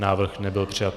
Návrh nebyl přijat.